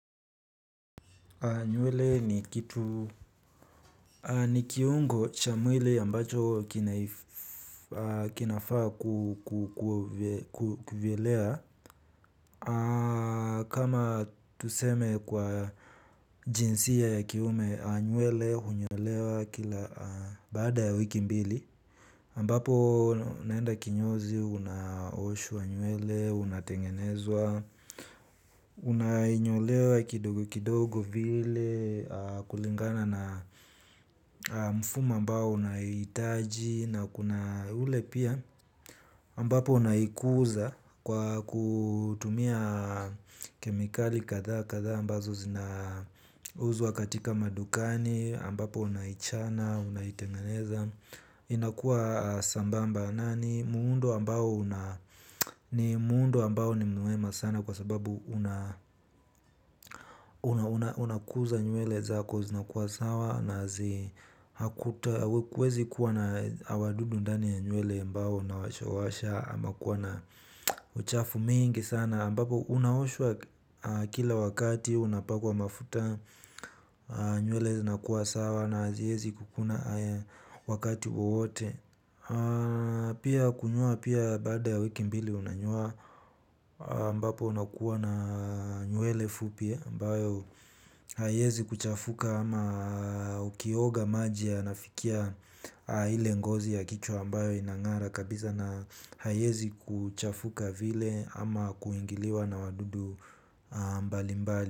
Nywele ni kitu. Ni kiungo cha mwili ambacho kinaifaa kukuvyelea. Kama tuseme kwa jinsia ya kiume nywele hunyolewa kila baada ya wiki mbili ambapo unaenda kinyozi unaoshwa nywele unatengenezwa. Unanyolewa kidogo kidogo vile kulingana na mfumo ambao unahitaji na kuna ule pia ambapo unaikuza kwa kutumia kemikali kadha kadha ambazo zinauzwa katika madukani ambapo unaichana unaitengeneza. Inakuwa sambamba na ni muundo ambao ni mwema sana kwa sababu unakuza nyuele za kwa zinakuwa sawa na zi unakuta huezi kuwa na wadudu ndani ya nywele ambao unawashawasha ama kuwa na uchafu mingi sana ambapo unaoshwa kila wakati unapakwa mafuta nywele zinakuwa sawa na haziezi kukuna wakati wowote. Pia kunyoa pia baada ya wiki mbili unanyoa ambapo unakuwa na nywele fupi ambayo haiezi kuchafuka ama ukioga maji yanafikia ile ngozi ya kichwa ambayo inang'ara kabisa na haiezi kuchafuka vile ama kuingiliwa na wadudu mbalimbali.